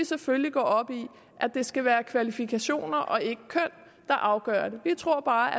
selvfølgelig op i at det skal være kvalifikationer og ikke køn der afgør det vi tror bare at